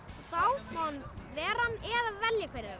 þá má hann vera ann eða velja hver er